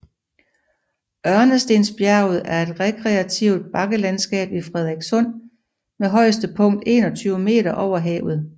Ørnestensbjerget er et rekreativt bakkelandskab i Frederikssund med højeste punkt 21 meter over havet